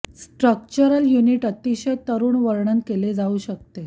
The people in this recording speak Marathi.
या स्ट्रक्चरल युनिट अतिशय तरुण वर्णन केले जाऊ शकते